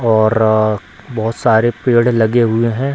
और रअ बहोत सारे पेड़ लगे हुए हैं।